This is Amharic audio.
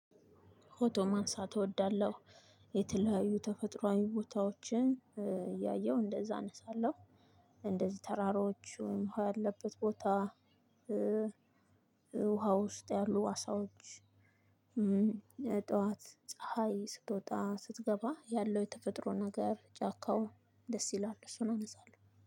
ፎቶ ማንሳት እወዳለሁ። የተለያዩ ተፈጥሮዊ ቦታዎችን እያየሁ እንደዛ አነሳለሁ። እንደዚ ተራራዎችን፣ ውሃ ያለበት ቦታ ውሃ ውስጥ ያሉ አሳዎች፣ ጠዋት ፀሀይ ስትወጣ ስትገባ ያለው የተፈጥሮ ነገር ጫካው ደስ ይላል እሱን አነሳለሁ።